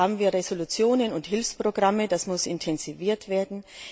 Hier haben wir Resolutionen und Hilfsprogramme, das muss intensiviert werden.